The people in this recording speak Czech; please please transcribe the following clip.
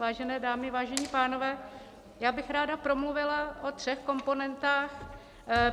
Vážené dámy, vážení pánové, já bych ráda promluvila o třech komponentách.